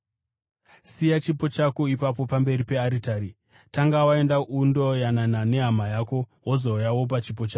siya chipo chako ipapo pamberi pearitari. Tanga waenda undoyanana nehama yako, wozouya wopa chipo chako.